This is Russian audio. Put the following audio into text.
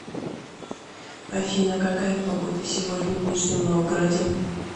афина какая погода сегодня в нижнем новгороде